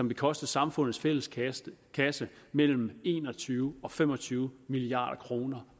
vil koste samfundets fælles kasse kasse mellem en og tyve og fem og tyve milliard kroner